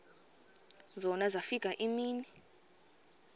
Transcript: zona zafika iimini